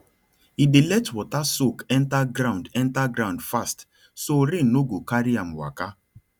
e dey let water soak enter ground enter ground fast so rain no go carry am waka